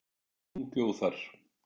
Hún bjó þar.